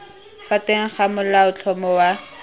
fa teng ga molaotlhomo wa